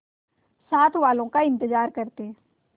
साथ वालों का इंतजार करते